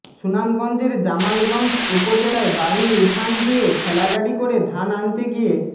সুনামগঞ্জের জামালগঞ্জ উপজেলায় বাড়ির উঠান দিয়ে ঠেলাগাড়ি করে ধান আনতে গিয়ে